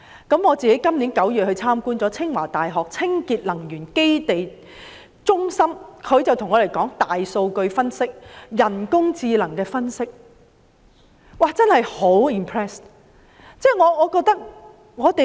今年9月，我到清華大學清潔能源中心參觀，他們向我們介紹大數據分析、人工智能分析等，真的令人印象深刻。